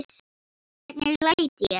Hvernig læt ég!